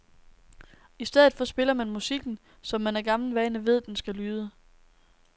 I stedet for spiller man musikken, som man af gammel vane ved den skal lyde.